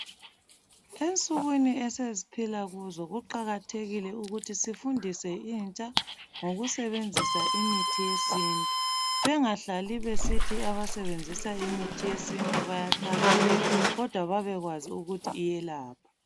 Ensukwini esesiphila kuzo kuqakathekile ukuthi sifundise intsha ngokusebenzisa imithi yesintu bengahlali besithi abasebenzisa imithi yesintu bayathakatha kodwa babekwazi ukuthi iyelapha